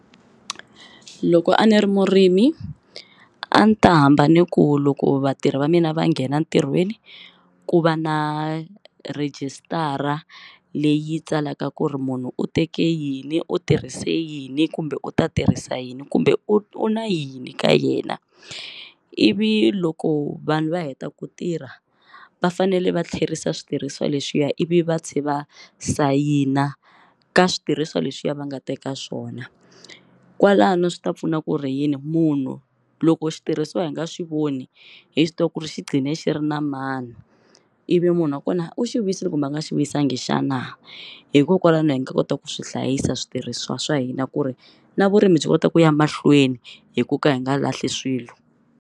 Loko a ni ri murimi a ni ta hamba ni ku loko vatirhi va mina va nghena ntirhweni ku va na rejistara leyi tsalaka ku ri munhu u teke yini u tirhise yini kumbe u ta tirhisa yini kumbe u na yini ka yena, ivi loko vanhu va heta ku tirha va fanele va tlherisa switirhisiwa leswiya ivi va tlhe va sayina ka switirhisiwa leswiya va nga teka swona, kwalano swi ta pfuna ku ri yini munhu loko xitirhisiwa hi nga swi voni hi swi tiva ku ri xi gqine xi ri na mani ivi munhu wa kona u xi vuyisile kumbe a nga xi vuyisangi xana, hikokwalaho hi nga kota ku swi hlayisa switirhisiwa swa hina ku ri na vurimi byi kota ku ya mahlweni hi ku ka hi nga lahli swilo.